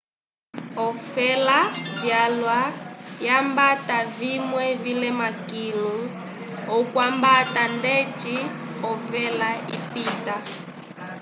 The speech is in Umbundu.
olofela vyalwa hambata vimwe vilema kilu okuhambata ndeci ovela ipita